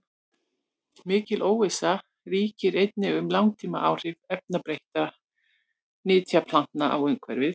Mikil óvissa ríkir einnig um langtímaáhrif erfðabreyttra nytjaplantna á umhverfið.